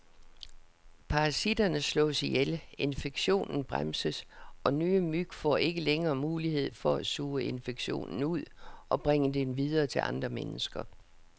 Parasitterne slås ihjel, infektionen bremses, og nye myg får ikke længere mulighed for at suge infektionen ud og bringe den videre til andre mennesker.